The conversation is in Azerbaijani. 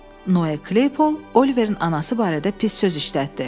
Noye Kleypol Oliverin anası barədə pis söz işlətdi.